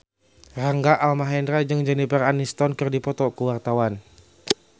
Rangga Almahendra jeung Jennifer Aniston keur dipoto ku wartawan